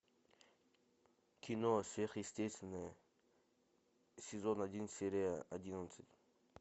кино сверхъестественное сезон один серия одиннадцать